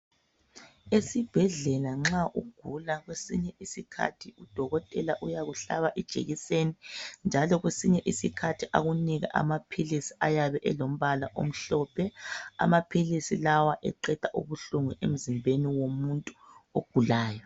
Esibhedlela nxa ugula kwesinye isikhathi udokotela uyakuhlaba ijekiseni njalo kwesinye isikhathi akunike amaphilisi ayabe elombala omhlophe. Amaphilisi lawa eqeda ubuhlungu emzimbeni womuntu ogulayo.